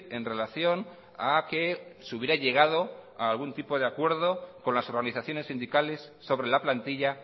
en relación a que se hubiera llegado a algún tipo de acuerdo con las organizaciones sindicales sobre la plantilla